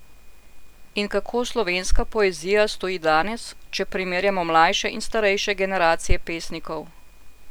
In kako slovenska poezija stoji danes, če primerjamo mlajše in starejše generacije pesnikov?